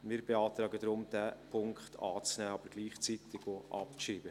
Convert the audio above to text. Wir beantragen daher, diesen Punkt anzunehmen, ihn aber gleichzeitig auch abzuschreiben.